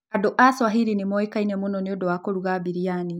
Andũ a Swahili nĩ moĩkaine mũno nĩ ũndũ wa kũruga biryani.